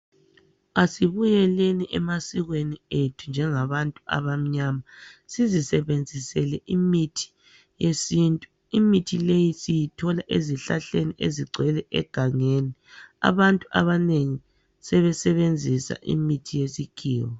Asibuyeleni emasikweni ethu njengabantu abamnyama sizisebenzisele imithi yesintu, imithi leyi siyithola ezihlahleni ezigcwele egangeni. Abantu abanengi sebesebenzisa imithi yesikhiwa.